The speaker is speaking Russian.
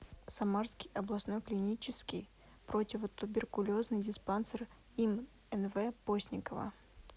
самарский областной клинический противотуберкулезный диспансер им нв постникова